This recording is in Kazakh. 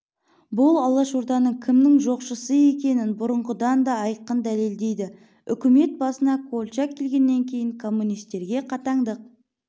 бұл алашорданың кімнің жоқшысы екенін бұрынғыдан да айқын дәлелдейді үкімет басына колчак келгеннен кейін коммунистерге қатаңдық